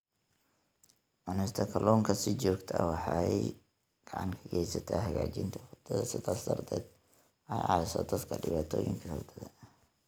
Cunista kalluunka si joogto ah waxay gacan ka geysataa hagaajinta hurdada, sidaas darteed waxay caawisaa dadka dhibaatooyinka hurdada.